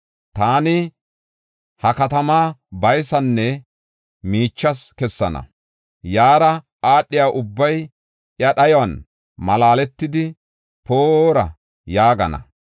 Taani ha katamaa baysanne miichas kessana. Yaara aadhiya ubbay iya dhayuwan malaaletidi, ‘Poora’ yaagana.